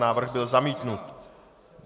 Návrh byl zamítnut.